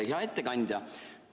Hea ettekandja!